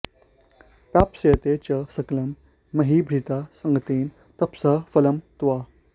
प्राप्स्यते च सकलं महीभृता संगतेन तपसः फलं त्वया